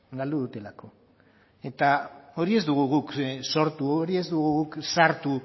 galdu dutelako eta hori ez dugu guk sortu hori ez dugu guk sartu